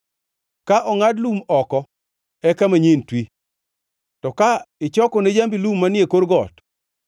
Ka ongʼad lum oko eka manyien twi, to ka ichoko ne jambi lum manie kor got,